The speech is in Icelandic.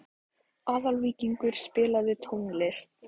Aðalvíkingur, spilaðu tónlist.